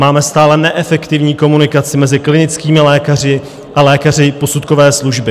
Máme stále neefektivní komunikaci mezi klinickými lékaři a lékaři posudkové služby.